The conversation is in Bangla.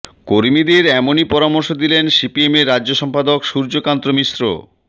কর্মীদের এমনই পরামর্শ দিলেন সিপিএমের রাজ্য সম্পাদক সূর্যকান্ত মিশ্র